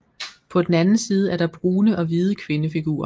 På den anden side er der brune og hvide kvindefigurer